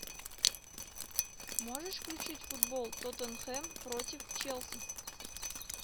можешь включить футбол тоттенхэм против челси